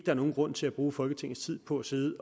er nogen grund til at bruge folketingets tid på at sidde